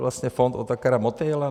Vlastně fond Otakara Motejla?